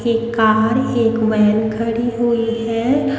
एक कार एक वैन खड़ी हुई है।